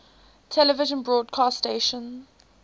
television broadcast stations